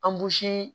Anbusi